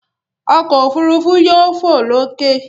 Ọkọ̀ òfurufú yóò fò lókè.